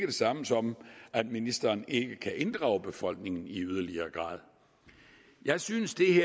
det samme som at ministeren ikke kan inddrage befolkningen i yderligere grad jeg synes